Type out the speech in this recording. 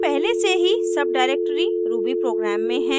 हम पहले से ही सबडाइरेक्टरी rubyprogram में हैं